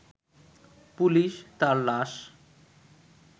police তার লাশ